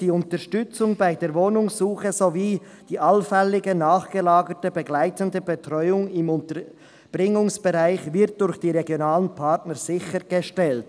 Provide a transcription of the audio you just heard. «Die Unterstützung bei der Wohnungssuche sowie die allfällige, nachgelagerte begleitende Betreuung im Unterbringungsbereich wird durch die [regionalen Partner] RP sichergestellt.»